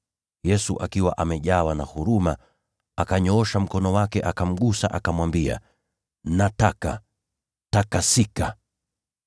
Yesu, akiwa amejawa na huruma, akanyoosha mkono wake akamgusa, akamwambia, “Nataka. Takasika!”